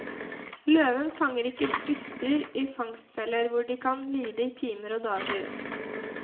Løven fanger ikke byttedyr i fangstfeller hvor de kan lide i timer og dager.